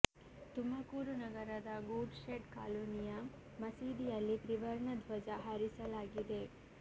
ತುಮಕೂರು ನಗರದ good shed ಕಾಲೋನಿಯ ಮಸೀದಿಯಲ್ಲಿ ತ್ರಿವರ್ಣ ಧ್ವಜ ಹಾರಿಸಲಾಗಿದೆ